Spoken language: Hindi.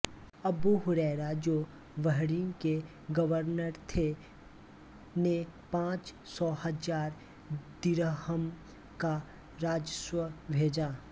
अबू हुरैरा जो बहरीन के गवर्नर थे ने पाँच सौ हज़ार दिरहम का राजस्व भेजा